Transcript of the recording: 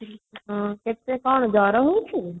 ହଁ ତତେ କଣ ଗରମ ହଉଛି